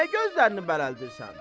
Niyə gözlərini bərəldirsən?